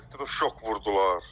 Elektroşok vurdular.